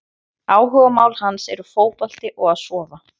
Áhugamál hans er fótbolti og að sofa!